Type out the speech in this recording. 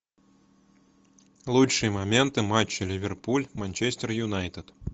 лучшие моменты матча ливерпуль манчестер юнайтед